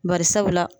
Bari sabula